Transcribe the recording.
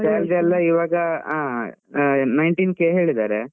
ಹಾ salary ಎಲ್ಲ ಇವಾಗ ಆ ಆಹ್ nineteen K ಹೇಳಿದ್ದಾರೆ.